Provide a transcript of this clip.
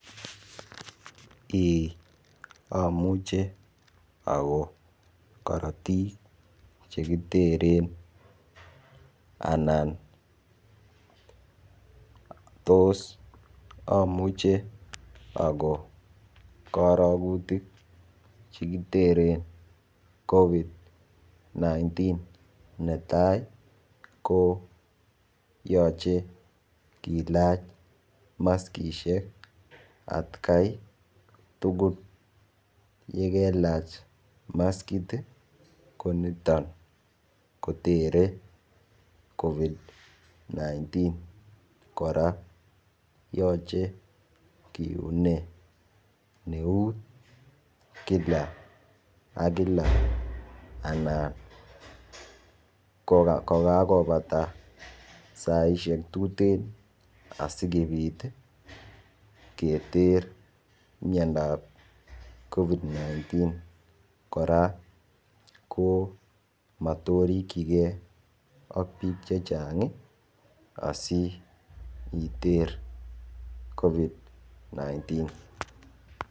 Eeh omuche okon korotik chekiteren anan tos omuche okon korokutik chekiteren COVID-19 netai ko yoche kilach maskishek atgai tukul yekelach maskit ko niton kotere COVID-19 koraa yoche kiunee neut Kila ak Kila anan ko kakopata saishek tuten asikopit keter miondap COVID-19. Koraa ko motorikigee ak bik chechang asiiter COVID-19.